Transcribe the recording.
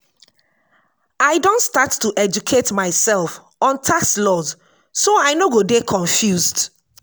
i don start to educate myself on tax laws so i no go dey confused.